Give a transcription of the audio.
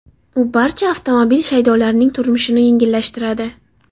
U barcha avtomobil shaydolarining turmushini yengillashtiradi.